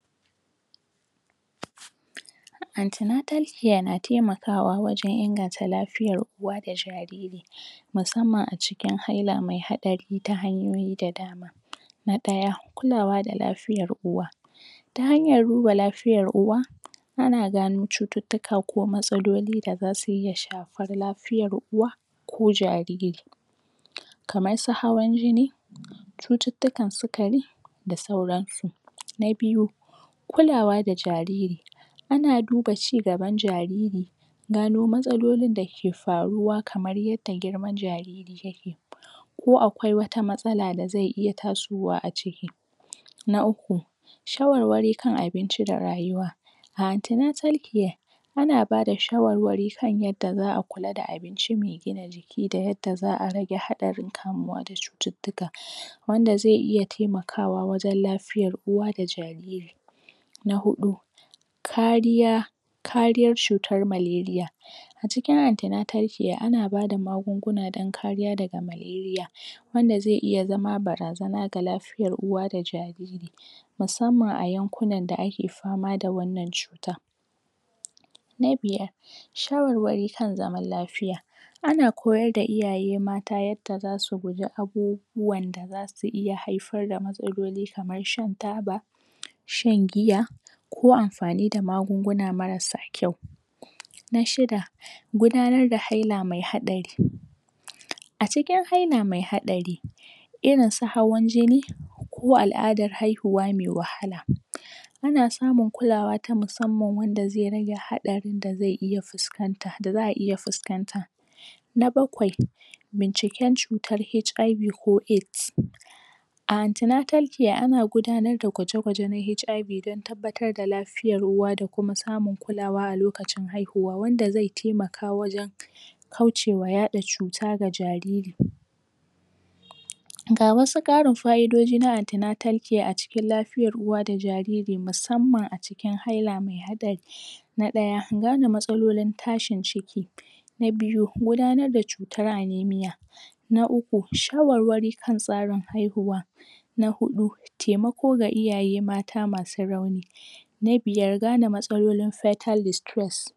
Antenatal care na taimakawa wajen inganta lafiyar uwa da jairiri musamman a cikin haila mai hatsari ta hanyoyi da dama. Na ɗaya, Kulawa da Lafiyar Uwa, ta hanyar duba lafiyar uwa, ana gano cututtuka ko matsaloli da za su iya shafar lafiyar uwa ko jariri. kamar su hawan jini, cututtukan sukari, da sauransu. Na biyu, Kulawa da Jariri, ana duba ci gaban jariri don gano matsalolin da ke faruwa kamar yadda girman jariri yake ko akwai wata matsala da zai iya tasowa a ciki. Na uku, shawarwari kan abinci da rayuwa, antenatal care ana bada shawarwari kan yadda za a kula da abincin mai gina jiki da yadda za'a rage haɗarin kamuwa da cututtuka wanda zai iya taimakawa wajen lafiyar uwa da jariri, Na huɗu, kariya kariyar cutar malaria. A cikin antenatal care ana ba da magunguna don kariya daga cutar malaria wanda zai iya zama barazana ga lafiyar uwa da jariri, musamman a yankunan da ake fama fda wannan cuta. Na biyar, Shawarwari kan zaman Lafiya. Ana koyar da iayey mata yadda za su guji abubuwan da za su iya haifar da matsaloli kamar shan taba, shan giya, ko amfani da magunguna marasa kyau. Na Shida: Gudanar da Haila mai Haɗari. A cikin haila mai haɗari, irin su hawan jini, ko al'adar haihuwa mai wahala, ana samun kulawa ta musamman wanda zai rage, haɗarin da zai iya fuskanta, da za'a iya fuskanta. Na Bakwai: Binciken cutar HIV ko AIDS. A antenatal care ana gudanar da gwaje-gwajen HIV don tabbatar da lafiyar uwa da kuma samun kulawa a lokacin haihuwa wanda zai taimaka wajen kaucewa yaɗa cuta ga jariri. Ga wasu ƙarin faidodi na antenatal care a cikin lafiyar uwa da jariri musamman a cikin haila mai hatsari Na ɗaya: Gane matsalolin tashin ciki. Na biyu: Gudanar da cutar amenia, Na Uku: Shwarwari kan tsarin haihuwa. Na huɗu: Taimako ga iyaye mata masu rauni. Na biyar: Gane matsalolin foetal distrust